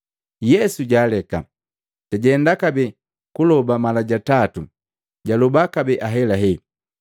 Yesu jaaleka, jajenda kabee kuloba mala ja tatu, jaloba kabee ahelahela.